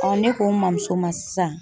ne ko n mamuso ma sisan